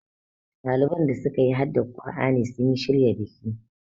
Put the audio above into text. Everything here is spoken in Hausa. ɗalibai da suka yi haddar kur'ani sun shirya biki